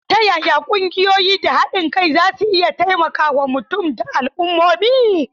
Ta yaya ƙungiyoyi da haɗin kai za su iya taimakawa mutane da al'ummomi?